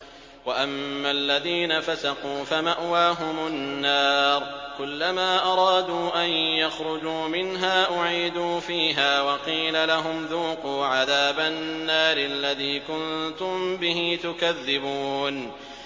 وَأَمَّا الَّذِينَ فَسَقُوا فَمَأْوَاهُمُ النَّارُ ۖ كُلَّمَا أَرَادُوا أَن يَخْرُجُوا مِنْهَا أُعِيدُوا فِيهَا وَقِيلَ لَهُمْ ذُوقُوا عَذَابَ النَّارِ الَّذِي كُنتُم بِهِ تُكَذِّبُونَ